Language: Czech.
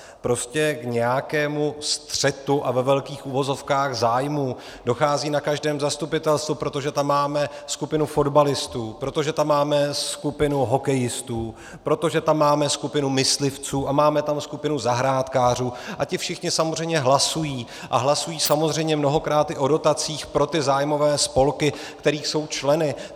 Prostě k nějakému střetu a ve velkých uvozovkách zájmů dochází na každém zastupitelstvu, protože tam máme skupinu fotbalistů, protože tam máme skupinu hokejistů, protože tam máme skupinu myslivců a máme tam skupinu zahrádkářů, a ti všichni samozřejmě hlasují a hlasují samozřejmě mnohokrát i o dotacích pro ty zájmové spolky, kterých jsou členy.